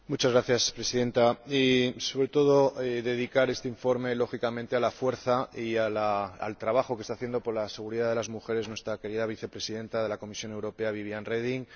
Señora Presidenta, quería sobre todo dedicar este informe, lógicamente, a la fuerza y al trabajo que está haciendo por la seguridad de las mujeres nuestra querida Vicepresidenta de la Comisión Europea, Viviane Reding.